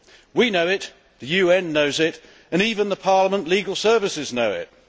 We know it, the UN knows it, and even Parliament's legal services know it.